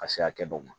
Ka se hakɛ dɔw ma